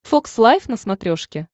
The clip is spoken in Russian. фокс лайв на смотрешке